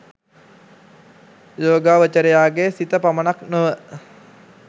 යෝගාවචරයාගේ සිත පමණක් නොව